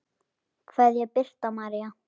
Kveðja, Birta María.